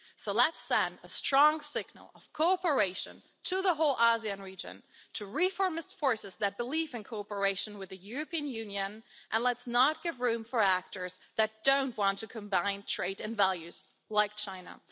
So let's send a strong signal of cooperation to the whole ASEAN region, to reformist forces that believe in cooperation with the European Union, and let's not give room to actors that don't want to combine trade and values, like China.